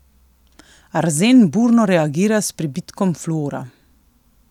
Arzen burno reagira s prebitkom fluora.